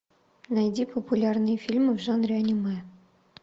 найди популярные фильмы в жанре аниме